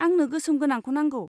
आंनो गोसोम गोनांखौनो नांगौ।